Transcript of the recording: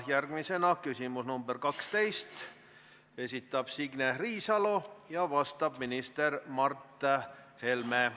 Järgmisena küsimus nr 12, esitab Signe Riisalo ja vastab minister Mart Helme.